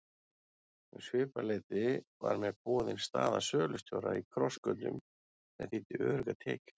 Um svipað leyti var mér boðin staða sölustjóra í Krossgötum sem þýddi öruggar tekjur.